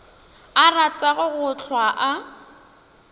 a ratago go hlwa a